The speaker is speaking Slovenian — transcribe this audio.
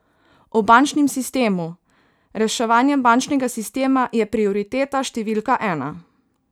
O bančnem sistemu: 'Reševanje bančnega sistema je prioriteta številka ena.